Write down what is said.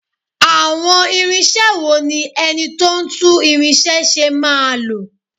Àwọn irinṣẹ́ wo ni ẹni tó ń tún irinṣẹ́ ṣe máa lò?